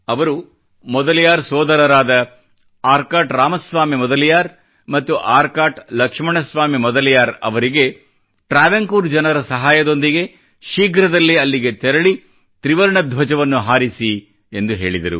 ಅವರು ಮೊದಲಿಯಾರ್ ಸೋದರರಾದ ಆರ್ಕಾಟ್ ರಾಮ ಸ್ವಾಮಿ ಮೊದಲಿಯಾರ್ ಮತ್ತು ಆರ್ಕಾಟ್ ಲಕ್ಷ್ಮಣ ಸ್ವಾಮಿ ಮೊದಲಿಯಾರ್ ಅವರಿಗೆ ಟ್ರಾವೆನ್ಕೋರ್ ಜನರ ಸಹಾಯದೊಂದಿಗೆ ಶೀಘ್ರದಲ್ಲೇ ಅಲ್ಲಿಗೆ ತೆರಳಿ ತ್ರಿವರ್ಣ ಧ್ವಜವನ್ನು ಹಾರಿಸಿ ಎಂದು ಹೇಳಿದರು